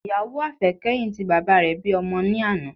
Ìyàwó àfẹ́kẹ́yìn ti bàbá rẹ bí ọmọ ní àná